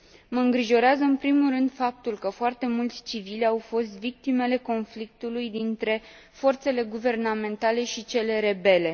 Mă îngrijorează în primul rând faptul că foarte mulți civili au fost victimele conflictului dintre forțele guvernamentale și cele rebele.